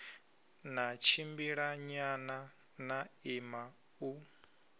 ḽa tshimbilanyana ḽa ima u